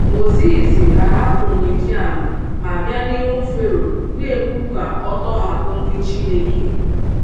Mozis ahapụ Midian ma bịa n’ihu Fero, na - ekwu ka ọ tọhapụ ndị Chineke.